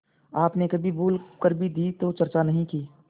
आपने कभी भूल कर भी दी तो चर्चा नहीं की